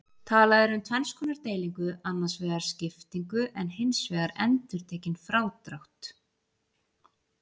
Talað er um tvenns konar deilingu, annars vegar skiptingu en hins vegar endurtekinn frádrátt.